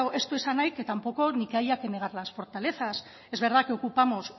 ez du esan nahi que tampoco ni que haya que negar las fortalezas es verdad que ocupamos